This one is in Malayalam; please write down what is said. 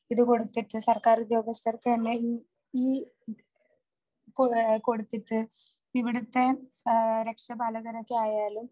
ഇതുകൊടുത്തിട്ട് സർക്കാർ ഉദ്യോഗസ്ഥർക്ക് തന്നെ , ഈ കൊടുത്തിട്ട് ഇവിടുത്തെ എ രക്ഷാപാലകരൊക്കെ ആയാലും